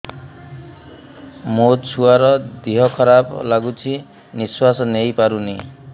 ମୋ ଛୁଆର ଦିହ ଖରାପ ଲାଗୁଚି ନିଃଶ୍ବାସ ନେଇ ପାରୁନି